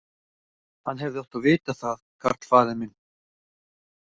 Hann hefði átt að vita það, karl faðir minn.